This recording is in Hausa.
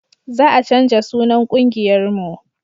Za a canja sunan ƙungiyar mu